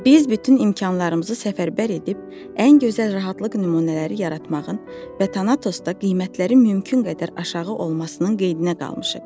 Biz bütün imkanlarımızı səfərbər edib ən gözəl rahatlıq nümunələri yaratmağın və Tanatosda qiymətlərin mümkün qədər aşağı olmasının qayğısına qalmışıq.